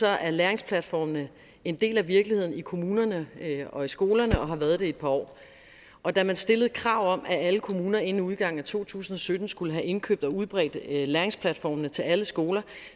er læringsplatformene en del af virkeligheden i kommunerne og i skolerne og har været det i et par år og da man stillede krav om at alle kommuner inden udgangen af to tusind og sytten skulle have indkøbt og udbredt læringsplatformene til alle skoler